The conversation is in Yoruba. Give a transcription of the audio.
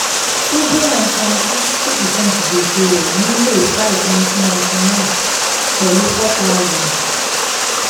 subhra san sixty per cent gbèsè rẹ̀ ní may five nineteen ninety nine pẹ̀lú four thousand